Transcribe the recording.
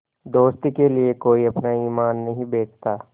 दोस्ती के लिए कोई अपना ईमान नहीं बेचता